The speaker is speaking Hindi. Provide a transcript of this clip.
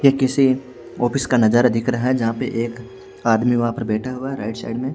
ये किसी ऑफिस का नजारा दिख रहा है जहां पे एक आदमी वहां पे बैठा हुआ राइट साइड में--